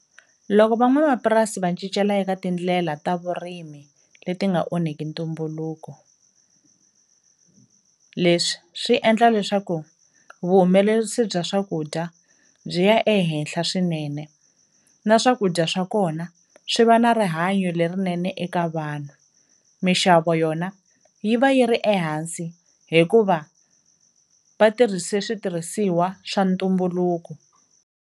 Loko van'wamapurasi va cincela eka tindlela ta vurimi leti nga onheki ntumbuluko, leswi swi endla leswaku vuhumelerisi bya swakudya byi ya ehenhla swinene na swakudya swa kona swi va na rihanyo lerinene eka vanhu, mixavo yona yi va yi ri ehansi hikuva vatirhise switirhisiwa swa ntumbuluko.